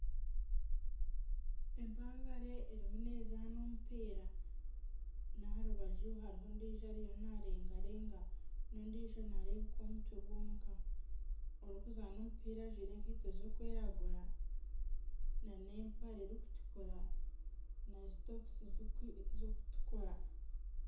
Empangare erimu nezaana omupiira n'aha rubaju hariho ondiijo ariyo narengarenga n'ondiijo nareebeka omutwe gwonka, orikuzaana omupiira ajwaire ekaito zirikwiragura na n'empare erikutukura na sitokisi zirikutukura.